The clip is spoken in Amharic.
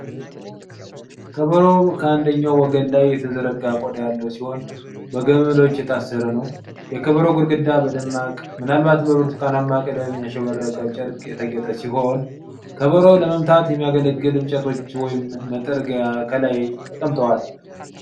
ከበሮው በአንደኛው ወገን ላይ የተዘረጋ ቆዳ ያለው ሲሆን፣ በገመዶች የታሰረ ነው። የከበሮው ግድግዳ በደማቅ፣ ምናልባትም በብርቱካናማ ቀለም ያሸበረቀ ጨርቅ የተጌጠ ሲሆን፣ ከበሮውን ለመምታት የሚያገለግሉ እንጨቶች ወይም መጥረጊያ ከላይ ተቀምጠዋል።